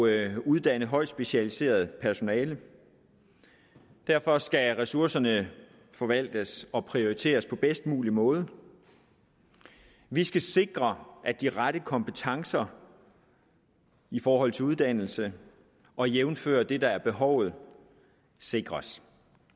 at uddanne højt specialiseret personale derfor skal ressourcerne forvaltes og prioriteres på den bedst mulige måde vi skal sikre at de rette kompetencer i forhold til uddannelse og jævnfør det der er behovet sikres